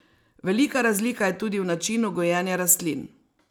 Velika razlika je tudi v načinu gojenja rastlin.